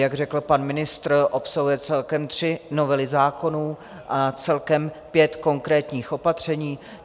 Jak řekl pan ministr, obsahuje celkem tři novely zákonů a celkem pět konkrétních opatření.